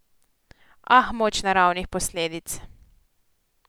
Ah, moč naravnih posledic!